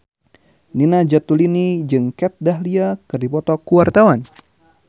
Nina Zatulini jeung Kat Dahlia keur dipoto ku wartawan